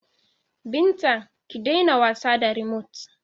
Binta, ki daina wasa da rimot!